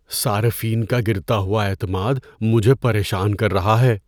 صارفین کا گرتا ہوا اعتماد مجھے پریشان کر رہا ہے۔